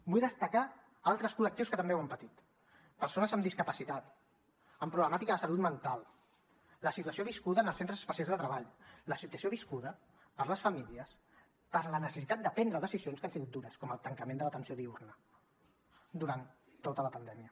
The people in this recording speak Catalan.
vull destacar altres col·lectius que també ho han patit persones amb discapacitat amb problemàtica de salut mental la situació viscuda en els centres especials de treball la situació viscuda per les famílies per la necessitat de prendre decisions que han sigut dures com el tancament de l’atenció diürna durant tota la pandèmia